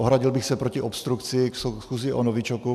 Ohradil bych se proti obstrukci ke schůzi o novičoku.